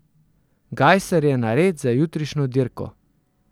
Gajser je nared za jutrišnjo dirko.